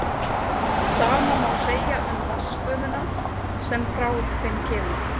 Sama má segja um vatnsgufuna sem frá þeim kemur.